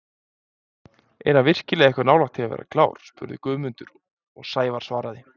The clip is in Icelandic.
Er hann virkilega eitthvað nálægt því að vera klár? spurði Guðmundur og Sævar svaraði: